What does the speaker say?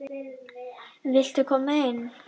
Viltu koma inn?